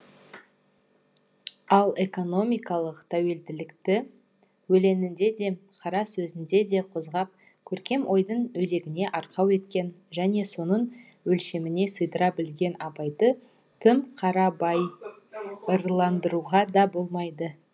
ал экономикалық тәуелділікті өлеңінде де қара сөзінде де қозғап көркем ойдың өзегіне арқау еткен және соның өлшеміне сыйдыра білген абайды тым қарабайырландыруға да болмайды